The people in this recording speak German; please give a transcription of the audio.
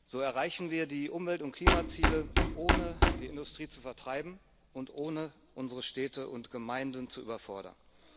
So erreichen wir die Umwelt und Klimaziele, ohne die Industrie zu vertreiben und ohne unsere Städte und Gemeinden zu überfordern.